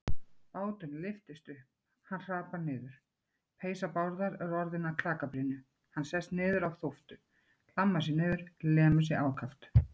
Báturinn lyftist upp, hann hrapar niður, peysa Bárðar er orðin að klakabrynju, hann sest niður á þóftu, hlammar sér niður, lemur sig ákaft.